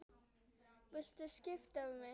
Viltu skipta við mig?